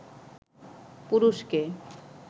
পুরুষকে